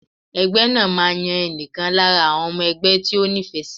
Ẹgbẹ́ máa yan ẹnìkan lára àwọn ọmọ ẹgbẹ́ tí ó ní ìfẹ́ sì.